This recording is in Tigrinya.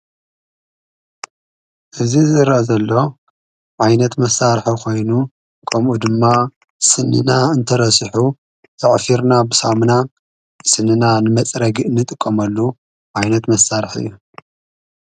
እዝ ዝረኣ ዘሎ ዓይነት መሣርሒ ኾይኑ ጥቅሙ ድማ ስንና እንተረሲሑ የዕፊርና ብሳምና ስንና ንመጸረጊ ጥ ንጥቀመሉ ዓይነት መሣርሕ እዩ።